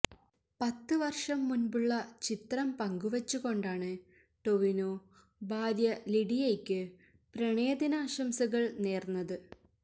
പത്ത് വർഷം മുൻപുള്ള ചിത്രം പങ്കുവച്ചുകൊണ്ടാണ് ടൊവിനോ ഭാര്യ ലിഡിയയ്ക്ക് പ്രണയദിനാശംസകൾ നേർന്നത്